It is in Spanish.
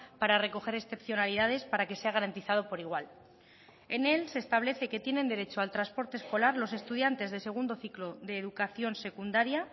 para recoger excepcionalidades para que sea garantizado por igual en él se establece que tienen derecho al transporte escolar los estudiantes de segundo ciclo de educación secundaria